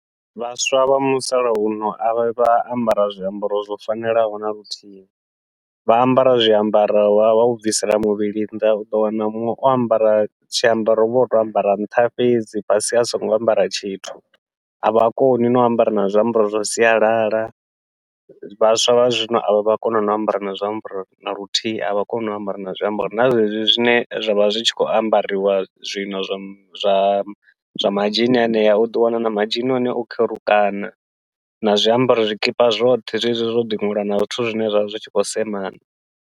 Vhaswa vha musalauno a vhavhi vha ambara zwiambaro zwo fanelaho naluthihi, vha ambara zwiambaro vha vha vho bvisela muvhili nnḓa uḓo wana muṅwe o ambara tshiambaro uvha o tou ambara nṱha fhedzi fhasi a songo ambara tshithu, avha koni nau ambara na zwiambaro zwa sialala. Vhaswa vha zwino avha vhavhi vha kona no u ambara na zwiambaro naluthihi, avha koni u ambara na zwiambaro na zwezwi zwine zwa vha zwi tshi khou ambariwa zwino zwa zwa zwa madzhini henea, uḓo wana na madzhini a hone o kherukana na zwiambaro zwikipa zwoṱhe zwezwi zwo ḓi ṅwaliwa na zwithu zwine zwavha zwi tshi khou semana.